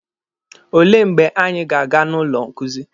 Olee mgbe anyị ga-aga na ụlọ nkuzi?